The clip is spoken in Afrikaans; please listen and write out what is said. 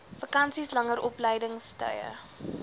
vakansies langer opleidingstye